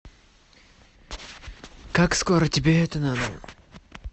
как скоро тебе это надо